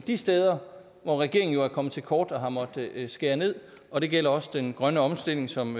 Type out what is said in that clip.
de steder hvor regeringen jo er kommet til kort og har måttet skære ned og det gælder også den grønne omstilling som